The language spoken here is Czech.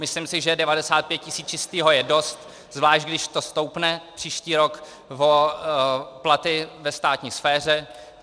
Myslím si, že 95 000 čistého je dost, zvlášť když to stoupne příští rok o platy ve státní sféře.